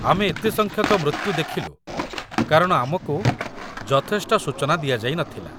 ଆମେ ଏତେ ସଂଖ୍ୟକ ମୃତ୍ୟୁ ଦେଖିଲୁ କାରଣ ଆମକୁ ଯଥେଷ୍ଟ ସୂଚନା ଦିଆଯାଇ ନଥିଲା।